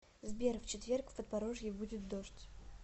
сбер в четверг в подпорожье будет дождь